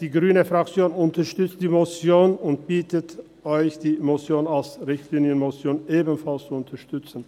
Die grüne Fraktion unterstützt die Motion und bittet Sie, die Motion als Richtlinienmotion ebenfalls zu unterstützen.